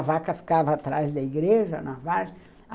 A vaca ficava atrás da igreja, na varja.